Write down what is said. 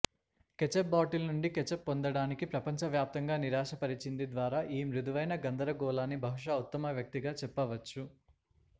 ketchup bottle నుండి ketchup పొందడానికి ప్రపంచవ్యాప్తంగా నిరాశపరిచింది ద్వారా ఈ మృదువైన గందరగోళాన్ని బహుశా ఉత్తమ వ్యక్తిగా చెప్పవచ్చు